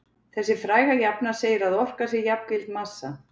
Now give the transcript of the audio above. Þessi fræga jafna segir að orka sé jafngild massa.